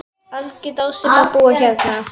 Algjör dásemd að búa hérna.